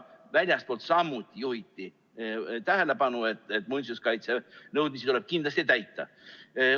Väljastpoolt juhiti samuti tähelepanu, et muinsuskaitsenõudmisi tuleb kindlasti täita.